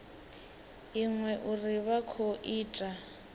iṅwe uri vha khou ita